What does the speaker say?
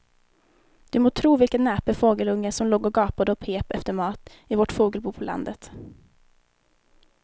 Du må tro vilken näpen fågelunge som låg och gapade och pep efter mat i vårt fågelbo på landet.